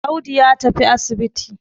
Audu ya tafi asibiti.